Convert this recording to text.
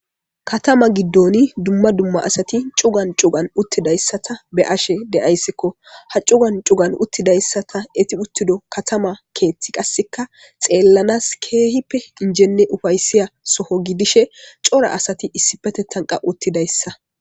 Katama giddoni dumma dumma asati cugan cugan uttidayssata be ashe deayssikko ha cugan cugan uttidayssa ta eti uttido katama keethti qasseka xeellanas keehippe injenne ufayssiya soho gidishe cora asati issi petetanqa uttidayssa.